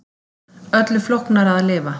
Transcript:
Öllu flóknara að lifa.